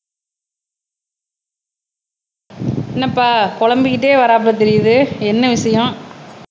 என்னப்பா புலம்பிக்கிட்டே வர்றாப்புல தெரியுது என்ன விஷயம்